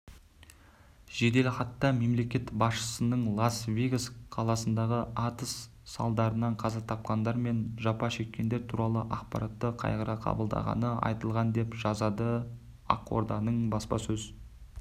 жеделхатта мемлекет басшысының лас-вегас қаласындағы атыс салдарынан қаза тапқандар мен жапа шеккендер туралы ақпаратты қайғыра қабылдағаны айтылған деп жазады ақорданың баспасөз